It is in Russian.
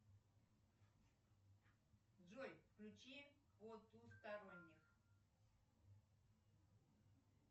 джой включи потусторонних